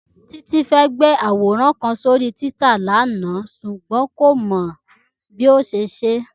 Títí fẹ́ gbé àwòrán kan sórí Twitter lánàá ṣùgbọ́n kò mọ bí yóò ṣe ṣe é